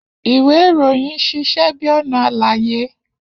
Iwe iroyin ṣiṣẹ bi ọna álàyé.